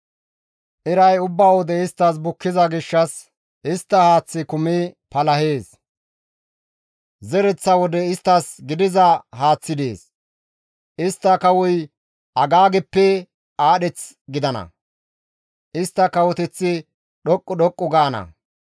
Iray ubba wode isttas bukkiza gishshas istta haaththi kumi palahees; zereththa wode isttas gidiza haaththi dees; istta kawoy Agaageppe aadheth gidana; istta kawoteththi dhoqqu dhoqqu gaana.